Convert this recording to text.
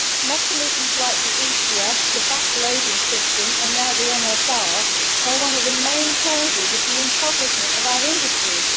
Mechanisms like the ETS, the back loading system and now the MSR are one of the main causes of the impoverishment of our industries.